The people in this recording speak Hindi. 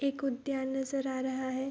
एक उद्यान नजर आ रहा है।